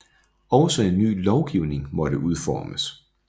Også en ny lovgivning måtte udformes